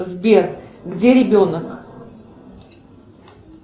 сбер где ребенок